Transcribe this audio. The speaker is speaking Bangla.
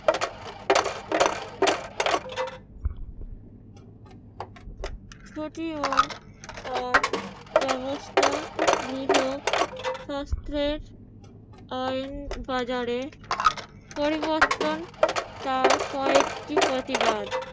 ছুটি ও তার ব্যবস্থা বৃহৎ শাস্রের আইন বাজারে পরিবর্তন তার কয়েকটি প্রতিবাদ।